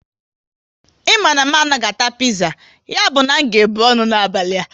Ị ma na m anaghị ata piza, ya bụ na m ga ebu ọnụ n'abalị a